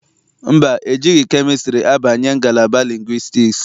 Mba, ejighị kemịstrị abanye ngalaba lingwistiks.